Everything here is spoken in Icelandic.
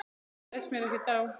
Þetta leist mér ekkert á.